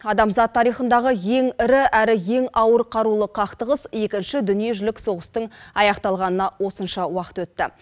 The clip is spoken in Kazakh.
адамзат тарихындағы ең ірі әрі ең ауыр қарулы қақтығыс екінші дүниежүзілік соғыстың аяқталғанына осынша уақыт өтті